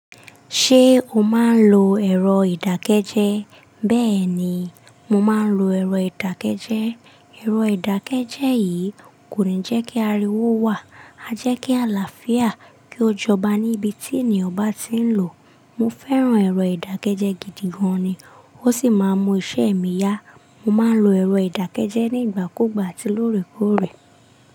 Ṣé o máa ń lo ẹ̀rọ ìdákẹ́jẹ́? Bẹ́ẹ̀ni, mo máa ń lo ẹ̀rọ ìdákẹ́jẹ́. Ẹ̀rọ ìdákẹ́jẹ́ yìí kò ní jẹ́ kí ariwo wà, a jẹ́ kí àlàáfíà kí ó jọba níbi tí ènìyàn bá ti ń lò. Mo fẹ́ràn ẹ̀rọ ìdákẹ́jẹ́ gidi gan ni, ó sì máa ń mọ iṣẹ́ mi yá. Mo máa ń lo ẹ̀rọ ìdákẹ́jẹ́ nígbà kúgbà atí lóòrèkóòrè.